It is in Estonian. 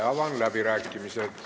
Avan läbirääkimised.